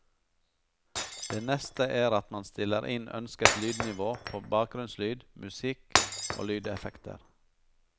Det neste er at man stiller inn ønsket lydnivå på bakgrunnslyd, musikk og lydeffekter.